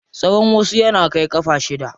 Tsawan wasu yana kai ƙafa shida.